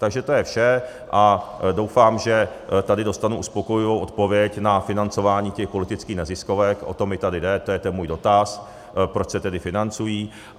Takže to je vše a doufám, že tady dostanu uspokojivou odpověď na financování těch politických neziskovek, o to mi tady jde, to je ten můj dotaz, proč se tedy financují.